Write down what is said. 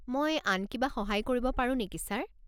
মই আন কিবা সহায় কৰিব পাৰো নেকি, ছাৰ?